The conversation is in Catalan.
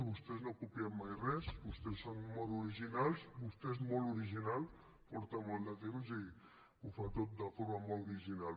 vostès no copien mai res vostès són molt originals vostè és molt original porta molt de temps i ho fa tot de forma molt original